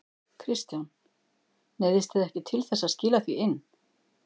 Kristján: Neyðist þið ekki til þess að skila því inn?